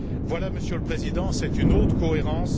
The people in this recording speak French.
Voilà, Monsieur le Président, c'est une autre cohérence.